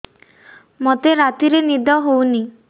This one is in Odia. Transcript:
ମୋତେ ରାତିରେ ନିଦ ହେଉନି